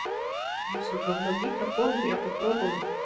скорее всего говно микрофон но я попробую